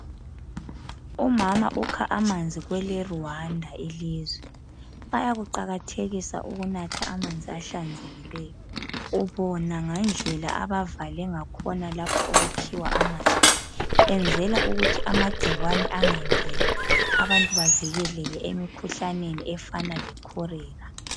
Umama ukha amanzi kweleRwanda ilizwe bayakuqakathekisa ukunatha amanzi ahlanzekileyo ubona ngendlela abavale ngakhona lapha okukhiwa amanzi enzela ukuthi amagcikwane angangeni abantu bavikeleke emkhuhlaneni efana lecholera.